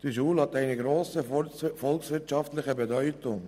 Diese Schule hat eine grosse volkswirtschaftliche Bedeutung.